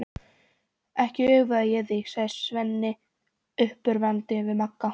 Ekki öfunda ég þig, sagði Svenni uppörvandi við Magga.